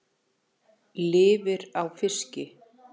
Lifir á fiski.